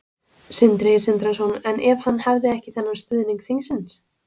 Sindri Sindrason: En ef hann hefði ekki þennan stuðning þingsins?